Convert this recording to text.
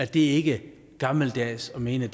det er ikke gammeldags at mene